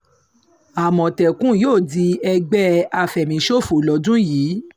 àmọ̀tẹ́kùn yóò di ẹgbẹ́ àfẹ̀míṣòfò lọ́dún yìí